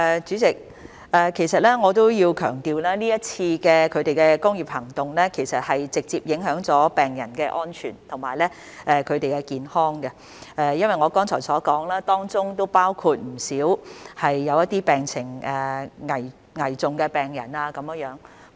主席，我要強調，這次工業行動是直接影響了病人的安全和健康，正如我剛才所說，當中包括不少病情危重的病人。